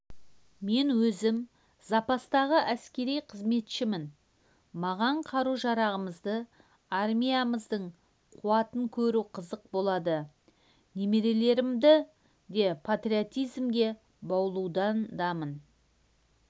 мен өзім запастағы әскери қызметшімін маған қару-жарағымызды армиямыздың қуатын көру қызық болды немерелерімді де патриотизмге баулудамын